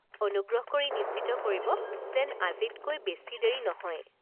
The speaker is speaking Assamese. অনুগ্ৰহ কৰি নিশ্চিত কৰিব যেন আজিতকৈ বেছি দেৰি নহয়।